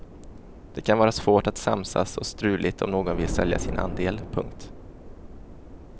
Det kan vara svårt att samsas och struligt om någon vill sälja sin andel. punkt